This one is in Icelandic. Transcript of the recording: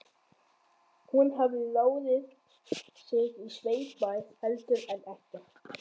Hún hafði ráðið sig á sveitabæ heldur en ekkert.